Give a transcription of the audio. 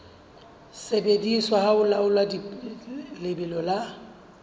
sebediswa ho laola lebelo la